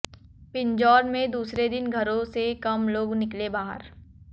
पिंजौर में दूसरे दिन घरों से कम लोग निकले बाहर